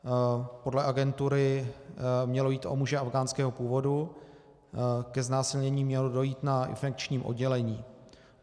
Podle agentury mělo jít o muže afghánského původu, ke znásilnění mělo dojít na infekčním oddělení.